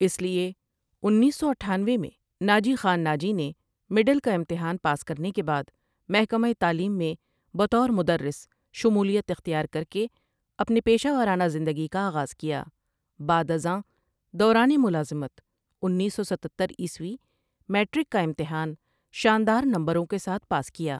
اسلئے انیس سو اٹھانوے میں ناجی خان ناجی نے مڈل کا امتحان پاس کرنے کے بعد محکمہ تعلیم میں بطور مدرس شمولیت احتیار کرکے اپنے پیشہ وارنہ ذندگی کا اغاز کیا بعدازان دوران ملازمت انیس سو ستتر عیسوی میٹرک کا امتحان شاندار نمبروں کے ساتھ پاس کیا ۔